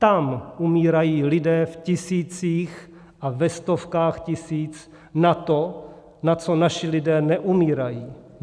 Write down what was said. Tam umírají lidé v tisících a ve stovkách tisíc na to, na co naši lidé neumírají.